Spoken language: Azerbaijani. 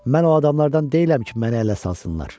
Mən o adamlardan deyiləm ki, məni ələ salsınlar.